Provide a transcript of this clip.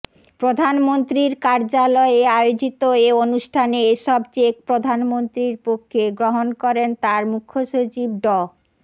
প্রধানমন্ত্রীর কার্যালয়ে আয়োজিত এ অনুষ্ঠানে এসব চেক প্রধানমন্ত্রীর পক্ষে গ্রহণ করেন তার মুখ্যসচিব ড